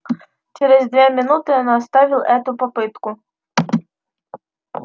через две минуты она оставил эту попытку